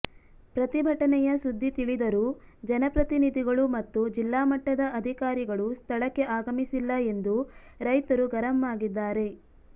ಪ್ರತಿಭಟನೆಯ ಸುದ್ದಿ ತಿಳಿದರೂ ಜನಪ್ರತಿನಿಧಿಗಳುಮತ್ತು ಜಿಲ್ಲಾಮಟ್ಟದ ಅಧಿಕಾರಿಗಳು ಸ್ಥಳಕ್ಕೆ ಆಗಮಿಸಿಲ್ಲ ಎಂದು ರೈತರು ಗರಂ ಆಗಿದ್ದಾರೆ